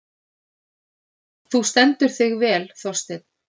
Þú stendur þig vel, Þorsteinn!